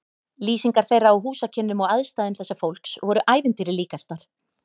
Lýsingar þeirra á húsakynnum og aðstæðum þessa fólks voru ævintýri líkastar.